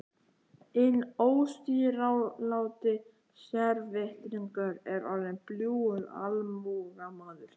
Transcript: Inn óstýriláti sérvitringur er orðinn bljúgur almúgamaður.